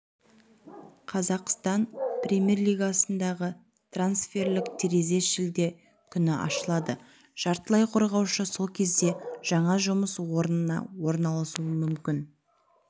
қазақстан премьер-лигасындағы трансферлік терезе шілде күні ашылады жартылай қорғаушы сол кезде жаңа жұмыс орнына орналасуы мүмкін